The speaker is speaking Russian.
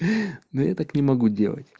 да я так не могу